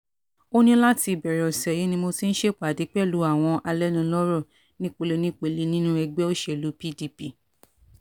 ó ní láti ìbẹ̀rẹ̀ ọ̀sẹ̀ yìí ni mo ti ń ṣèpàdé pẹ̀lú àwọn alẹ́nulọ́rọ̀ nípele nípele nínú ẹgbẹ́ òṣèlú pdp